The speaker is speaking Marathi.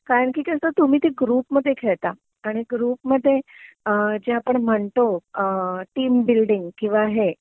कारण कि कस तुम्ही ते ग्रुपमध्ये खेळता आणि ग्रुपमध्ये जे आपण म्हणतो टीम बिल्डिंग किंवा हे